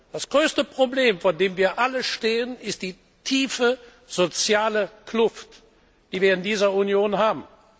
Das größte Problem, vor dem wir alle stehen, ist die tiefe soziale Kluft, die wir in dieser Union haben.